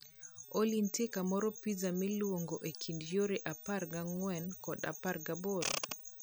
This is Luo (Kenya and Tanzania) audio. Olly nitie kamoro pizza malong e kind yore apar gang'wen kod apar gaboro?